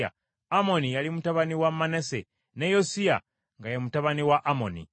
Amoni yali mutabani wa Manase, ne Yosiya nga ye mutabani wa Amoni.